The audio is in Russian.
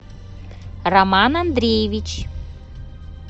роман андреевич